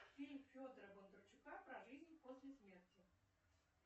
фильм федора бондарчука про жизнь после смерти